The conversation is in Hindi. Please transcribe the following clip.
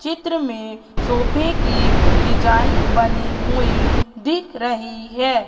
चित्र में सोफे की डिजाइन बनी हुई दिख रही है।